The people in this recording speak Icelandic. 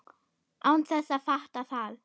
Án þess að fatta það.